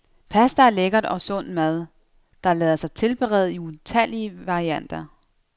Pasta er lækker og sund mad, der lader sig tilberede i utallige varianter.